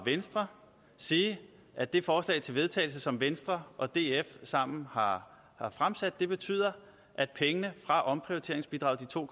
venstre sige at det forslag til vedtagelse som venstre og df sammen har fremsat betyder at pengene fra omprioriteringsbidraget de to